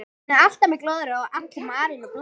Hann er alltaf með glóðarauga og allur marinn og blár.